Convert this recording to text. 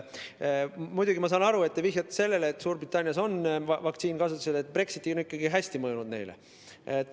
Muidugi, ma saan aru, te vihjate sellele, et Suurbritannias on vaktsiin kasutusel ja Brexit on ikkagi neile hästi mõjunud.